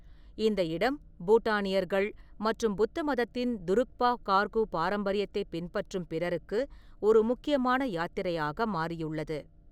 இந்த இடம் பூட்டானியர்கள் மற்றும் புத்த மதத்தின் துருக்பா கார்கு பாரம்பரியத்தைப் பின்பற்றும் பிறருக்கு ஒரு முக்கியமான யாத்திரையாக மாறியுள்ளது.